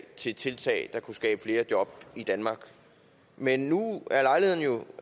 til tiltag der kunne skabe flere job i danmark men nu